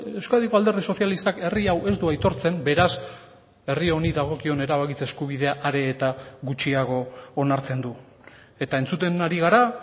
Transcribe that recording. euskadiko alderdi sozialistak herri hau ez du aitortzen beraz herri honi dagokion erabakitze eskubidea are eta gutxiago onartzen du eta entzuten ari gara